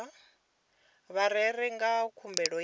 vha rere nga khumbelo ya